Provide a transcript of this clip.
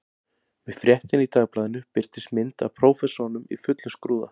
Með fréttinni í dagblaðinu birtist mynd af prófessornum í fullum skrúða